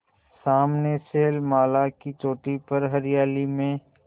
सामने शैलमाला की चोटी पर हरियाली में